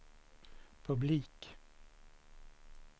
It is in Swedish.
publik